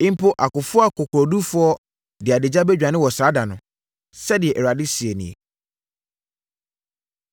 Mpo akofoɔ akokoɔdurufoɔ de adagya bɛdwane wɔ saa da no,” sɛdeɛ Awurade seɛ nie.